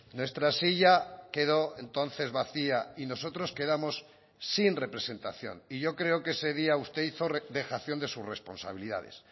nuestra silla quedó entonces vacía y nosotros quedamos sin representación y yo creo que ese día usted hizo dejación de sus responsabilidades